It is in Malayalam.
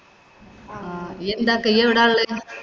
ആഹ് യ്യ് എന്താക്കായ? യ്യ് എവിടാ ഒള്ളത്?